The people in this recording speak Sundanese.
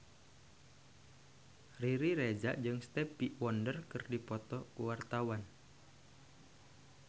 Riri Reza jeung Stevie Wonder keur dipoto ku wartawan